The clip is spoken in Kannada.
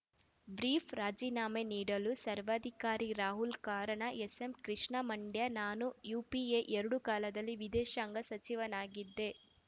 ಬ್ರೀಫ್‌ ರಾಜೀನಾಮೆ ನೀಡಲು ಸರ್ವಾಧಿಕಾರಿ ರಾಹುಲ್‌ ಕಾರಣ ಎಸ್ಸೆಂ ಕೃಷ್ಣ ಮಂಡ್ಯ ನಾನು ಯುಪಿಎ ಎರಡು ಕಾಲದಲ್ಲಿ ವಿದೇಶಾಂಗ ಸಚಿವನಾಗಿದ್ದೆ